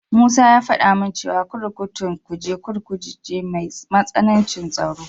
Musa ya faɗa min cewa kurkukun Kuje Kurkuku ce mai matsanancin tsaro.